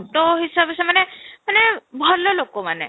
auto ହିସାବରେ ସେମାନେ ମାନେ ଭଲ ଲୋକମାନେ